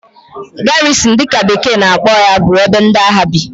Garrison' dị ka bekee na-akpọ ya bụ ebe ndị agha bi